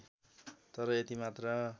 तर यति मात्र